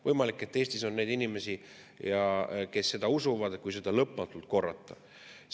Võimalik, et Eestis on neid inimesi, kes seda usuvad, kui seda lõpmatult korrata.